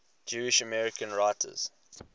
jewish american writers